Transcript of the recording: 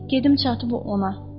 Gedim çatıb ona.